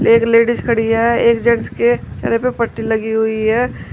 एक लेडिस खड़ी है एक जेंट्स के चेहरे पे पट्टी लगी हुई है।